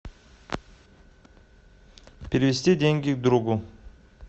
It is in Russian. перевести деньги другу